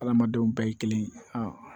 Adamadenw bɛɛ ye kelen